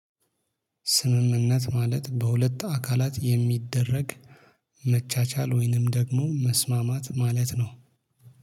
ስምምነት ማለት በሁለት አካላት የሚደረግ መቻቻል ወይንም ደግሞ መስማማት ማለት ነው።